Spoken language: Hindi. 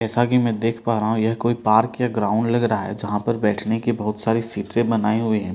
जैसा कि मैं देख पा रहा हूं यह कोई पार्क या ग्राउंड लग रहा है जहां पर बैठने की बहुत सारी सीटें बनाई हुई है।